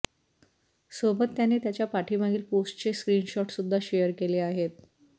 सोबत त्याने त्याच्या पाठीमागील पोस्टचे स्क्रीनशॉट सुद्धा शेअर केले आहेत